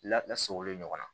Labila sogo le ɲɔgɔn na